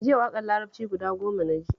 Jiya waƙar larabci guda goma na ji